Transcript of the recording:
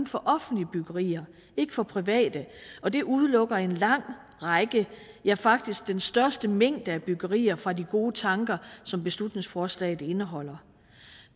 for offentlige byggerier ikke for private og det udelukker en lang række ja faktisk den største mængde af byggerier fra de gode tanker som beslutningsforslaget indeholder